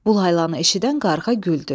Bu laylanı eşidən qarğa güldü.